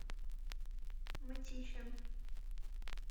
мытищам